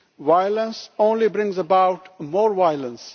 Violence only brings about more violence.